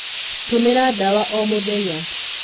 Tũmĩra dawa o mũthenya.